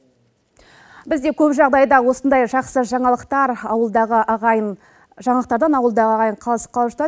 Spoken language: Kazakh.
бізде көп жағдайда осындай жақсы жаңалықтардан ауылдағы ағайын қалыс қалып жатады